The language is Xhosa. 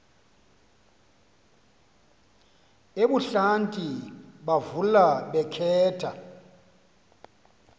ebuhlanti bavula bakhetha